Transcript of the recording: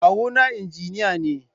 Kawuna Injiniya ne.